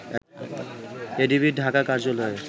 এডিবির ঢাকা কার্যালয়ের